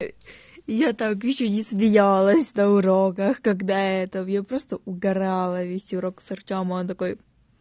я так ещё не смеялась на уроках когда это я просто угарала весь урок с артёма он такой